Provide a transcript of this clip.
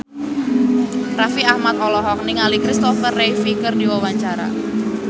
Raffi Ahmad olohok ningali Christopher Reeve keur diwawancara